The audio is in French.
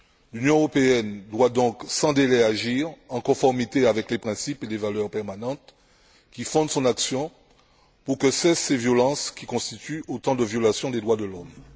L'Union européenne doit donc sans délai agir en conformité avec les principes et les valeurs permanentes qui fondent son action pour que cessent ces violences, qui constituent autant de violations des droits de l'homme.